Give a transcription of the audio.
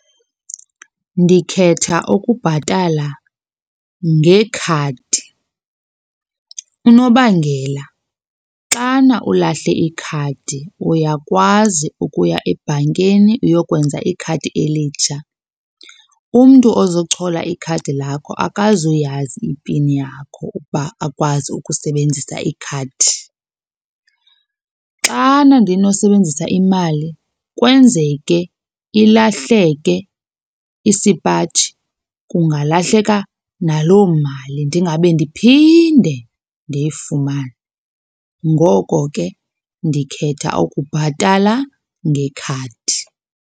Ndikhetha ukubhatala ngekhadi. Unobangela xana ulahle ikhadi uyakwazi ukuya ebhankeni uyokwenza ikhadi elitsha. Umntu ozochola ikhadi lakho akazuyazi ipini yakho ukuba akwazi ukusebenzisa ikhadi. Xana ndinosebenzisa imali kwenzeke ilahleke isipaji kungalahleka naloo mali ndingabe ndiphinde ndiyifumane. Ngoko ke ndikhetha ukubhatala ngekhadi.